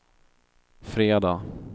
fredag